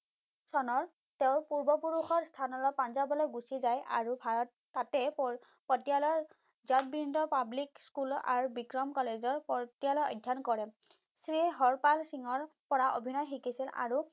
চনৰ তেওঁ পূৰ্বপুৰুষৰ স্থানলৈ পাঞ্জাবলৈ গুচি যায় আৰু ভাৰত তাতে পতীয়ালাৰ জগবিন্দ পাব্লিক school আৰু বিক্ৰম college ৰ পতীয়ালত অধ্যয়ন কৰে। শ্ৰী হৰপাল সিং ৰ পৰা অভিনয় শিকিছিল আৰু